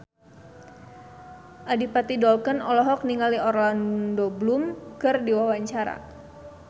Adipati Dolken olohok ningali Orlando Bloom keur diwawancara